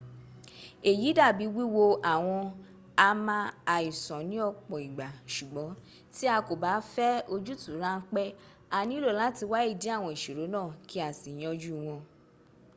èyí dàbi wíwo àwọn àmà àìsàn ni ọ̀pọ̀ ìgbà. sùgbón tí a kọ ba fẹ ojútuu ránpẹ a nílò làti wá ìdí àwọn ìṣòro náà ki´ a si yanjú wọn